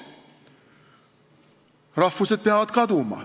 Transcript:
Rahvused peavad kaduma.